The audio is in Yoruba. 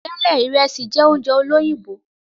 Tẹlẹ, Ìresì jẹ oúnjẹ olóyìnbó